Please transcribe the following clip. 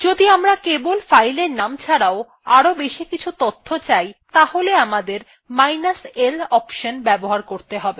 যদি আমরা কেবল fileএর নাম ছাড়াও আরও বেশি কিছু তথ্য চাই তাহলে আমাদের minus l অনশন ব্যবহার করতে হবে